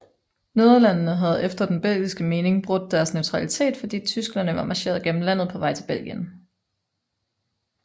Nederlandene havde efter den belgiske mening brudt deres neutralitet fordi tyskerne var marcheret gennem landet på vej til Belgien